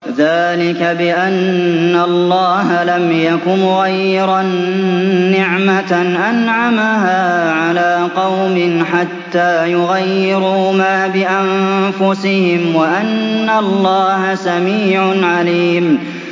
ذَٰلِكَ بِأَنَّ اللَّهَ لَمْ يَكُ مُغَيِّرًا نِّعْمَةً أَنْعَمَهَا عَلَىٰ قَوْمٍ حَتَّىٰ يُغَيِّرُوا مَا بِأَنفُسِهِمْ ۙ وَأَنَّ اللَّهَ سَمِيعٌ عَلِيمٌ